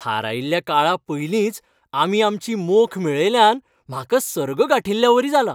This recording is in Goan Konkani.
थारायिल्ल्या काळा पयलींच आमी आमची मोख मेळयल्ल्यान म्हाका सर्ग गांठिल्ल्यावरी जालां!